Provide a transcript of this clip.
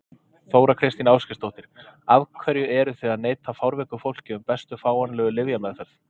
Þóra Kristín Ásgeirsdóttir: Af hverju eruð þið að neita fárveiku fólki um bestu fáanlegu lyfjameðferð?